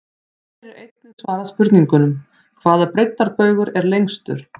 Hér er einnig svarað spurningunum: Hvaða breiddarbaugur er lengstur?